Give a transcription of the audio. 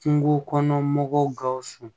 Kungo kɔnɔ mɔgɔw gawusu